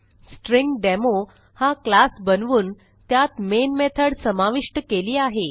string demo हा class बनवून त्यात मेन मेथड समाविष्ट केली आहे